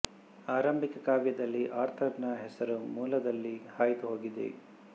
ಆರಂಭಿಕ ಕಾವ್ಯದಲ್ಲಿ ಆರ್ಥರ್ ನ ಹೆಸರು ಮೂಲದಲ್ಲಿ ಹಾಯ್ದು ಹೋಗಿದೆ